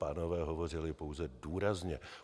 Pánové hovořili pouze důrazně.